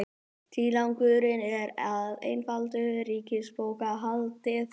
Tilgangurinn er að einfalda ríkisbókhaldið